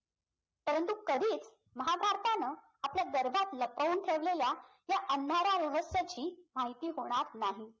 परंतु कधीच महाभारतानं आपल्या गर्भात लपवून ठेवलेल्या ह्या अंधारा रहस्याची माहिती होणार नाही